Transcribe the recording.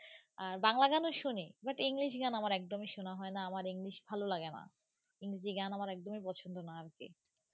আর বাংলা গানও শুনি but english গান আমার একদমই শোনা হয় না আমার english ভালো লাগে না ইংরেজি গান আমার একদমই পছন্দ না আর কি.